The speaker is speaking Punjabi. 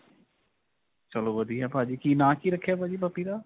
ਚਲੋ ਵਧੀਆ ਭਾਜੀ. ਕੀ ਨਾਂ ਕਿ ਰੱਖਿਆ ਭਾਜੀ puppy ਦਾ?